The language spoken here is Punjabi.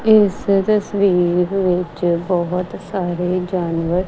ਇਸ ਤਸਵੀਰ ਵਿੱਚ ਬਹੁਤ ਸਾਰੇ ਜਾਨਵਰ--